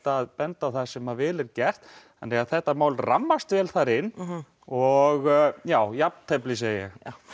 að benda á það sem vel er gert þetta mál rammast vel þar inn og já jafntefli segi ég